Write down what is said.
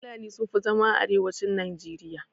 Fulani sun fi zama a arewacin najeriya.